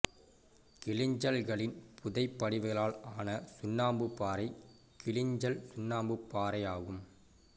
கிளிஞ்சல்களின் புதை படிவுகளால் ஆன சுண்ணாம்புப் பாறை கிளிஞ்சல் சுண்ணாம்புப் பாறை ஆகும்